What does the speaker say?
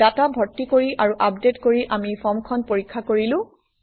data ভৰ্তি কৰি আৰু আপডেট কৰি আমি ফৰ্মখন পৰীক্ষা কৰিলো